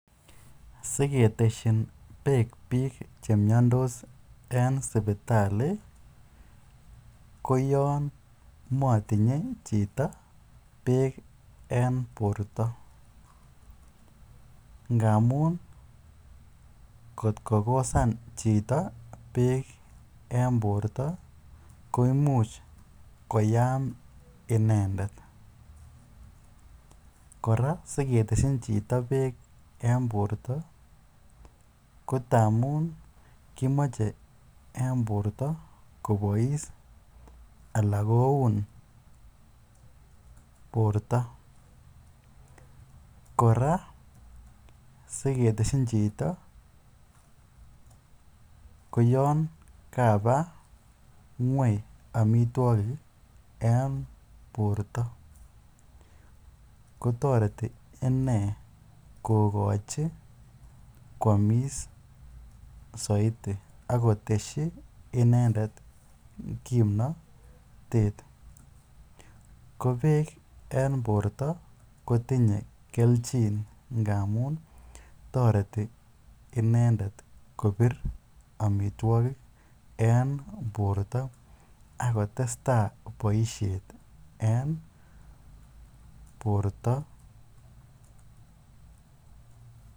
Siketeshin beek biik chemiondos en sipitali koyoon motinye chito beek en borto ngamun kot kokosan chito beek en borta koimuch koyaam inendet, kora siketeshin chito beek en borto kondamun kimoche en borto kobois alaan koun borto, kora siketeshin chito ko yoon kabaa ngweny amitwokik en borto kotoreti inee kokochi kwomis soiti ak koteshi inendet kimnotet, ko beek en borto kotinye kelchin amun toreti inendet kobir amitwokik en borto ak kotesta boishet en borto.